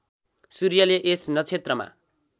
सूर्यले यस नक्षत्रमा